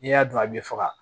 N'i y'a dun a bɛ faga